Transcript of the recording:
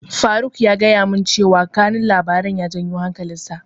Faruk ya faɗa min cewa kanun labarin ya janyo hankalinsa.